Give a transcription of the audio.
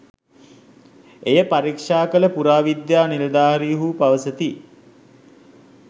එය පරීක්ෂා කළ පුරාවිද්‍යා නිලධාරීහු පවසති.